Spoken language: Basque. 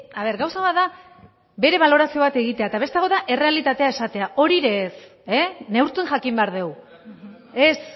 a ver gauza bat da bere balorazio bat egitea eta beste hau da errealitatea esatea hori ere ez e neurtu jakin behar dugu ez